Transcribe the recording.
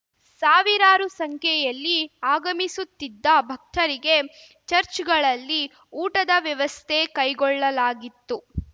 ಸಾವಿರಾರು ಸಂಖ್ಯೆಯಲ್ಲಿ ಆಗಮಿಸುತ್ತಿದ್ದ ಭಕ್ತರಿಗೆ ಚಚ್‌ರ್‍ಗಳಲ್ಲಿ ಊಟದ ವ್ಯವಸ್ಥೆ ಕೈಗೊಳ್ಳಲಾಗಿತ್ತು